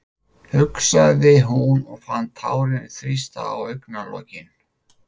hugsaði hún og fann tárin þrýsta á augnalokin.